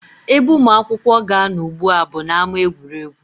Ebe ụmụ akwụkwọ ga-anọ ugbu a bụ n'ámá egwuregwu